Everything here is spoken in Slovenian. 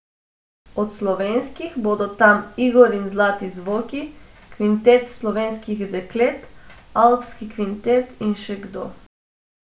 Od slovenskih bodo tam Igor in zlati zvoki, Kvintet slovenskih deklet, Alpski kvintet in še kdo.